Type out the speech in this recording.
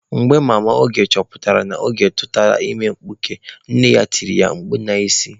Mgbe mama Oge chọpụtara na Oge tụtara ime mkpuke, nne ya tiri ya mkpu n'isi.